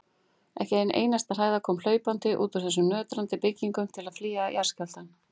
Ekki ein einasta hræða kom hlaupandi út úr þessum nötrandi byggingum til að flýja jarðskjálftann.